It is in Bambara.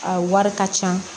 A wari ka ca